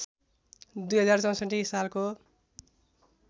२०६४ सालको